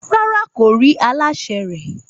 Rárá, kò rí aláṣẹ rẹ̀